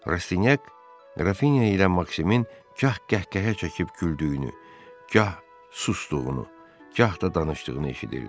Rastyak Qrafinya ilə Maksimin gah qəhqəhə çəkib güldüyünü, gah susduğunu, gah da danışdığını eşidirdi.